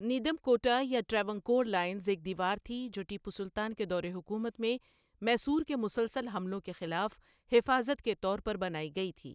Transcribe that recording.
نیدم کوٹا یا ٹراوانکور لائنز ایک دیوار تھی جو ٹیپو سلطان کے دور حکومت میں میسور کے مسلسل حملوں کے خلاف حفاظت کے طور پر بنائی گئی تھی۔